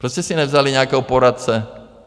Proč jste si nevzali nějakého poradce?